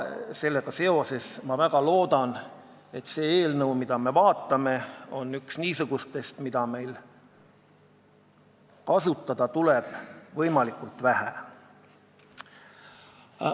Sellega seoses ma väga loodan, et see eelnõu, mida me praegu vaatame, on üks niisugustest, mida meil tuleb kasutada võimalikult vähe.